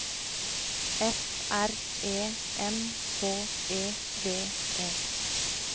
F R E M H E V E